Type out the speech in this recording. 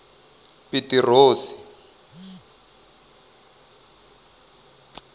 pitirosi